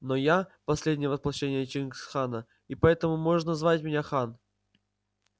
но я последнее воплощение чингис хана и поэтому можешь звать меня хан